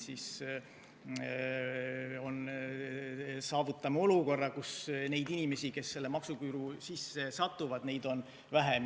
Siis saavutame olukorra, kus neid inimesi, kes selle maksuküüru sisse satuvad, on vähem.